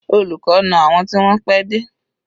Olùkọ́ na àwọn tí wọ́n pẹ́ dé.